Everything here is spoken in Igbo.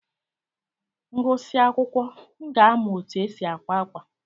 M gụsịa akwụkwọ, m ga-amụ otu e si àkwá ákwà.